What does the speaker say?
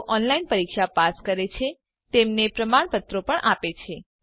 જેઓ ઓનલાઈન પરીક્ષા પાસ કરે છે તેમને પ્રમાણપત્રો પણ આપે છે